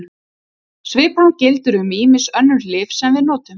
Svipað gildir um ýmis önnur lyf sem við notum.